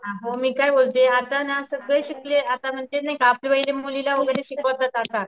हो मी काय बोलते आता ना सगळे शिकले आता म्हणजे नाहीका पहिले मुलीला वगैरे शिकवत होता का?